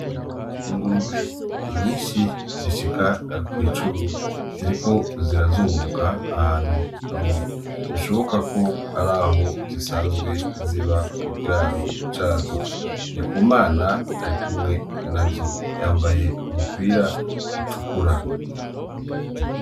Ingurube nyinshi zishika kw’icumi ziriko zirazunguruka ahantu hamwe bishoboka ko araho zisanzwe ziba mu kiraro cazo . Ndikumana arikumwe nazo yambaye umupira utukura.